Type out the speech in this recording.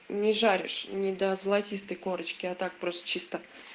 не жаришь не до золотистой корочки а так просто чисто